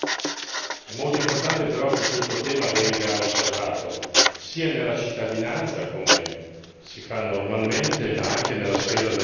È molto importante però che questo tema venga osservato sia nella cittadinanza, come si fa normalmente, ma anche nella sfera del lavoro.